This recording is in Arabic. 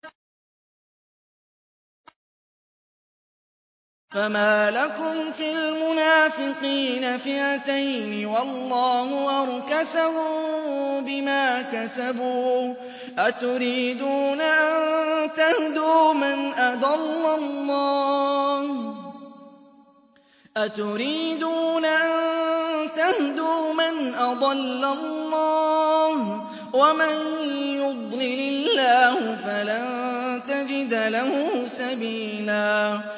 ۞ فَمَا لَكُمْ فِي الْمُنَافِقِينَ فِئَتَيْنِ وَاللَّهُ أَرْكَسَهُم بِمَا كَسَبُوا ۚ أَتُرِيدُونَ أَن تَهْدُوا مَنْ أَضَلَّ اللَّهُ ۖ وَمَن يُضْلِلِ اللَّهُ فَلَن تَجِدَ لَهُ سَبِيلًا